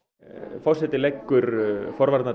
forseti leggur